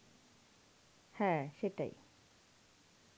হ্যাঁ সেটাই.